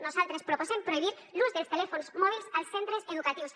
nosaltres proposem prohibir l’ús dels telèfons mòbils als centres educatius